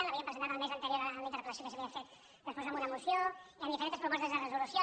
l’havíem presentat el mes anterior en la interpel·lació que s’havia fet després en una moció i en diferents propostes de resolució